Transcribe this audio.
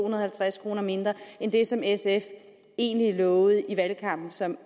og halvtreds kroner mindre end det som sf egentlig lovede i valgkampen som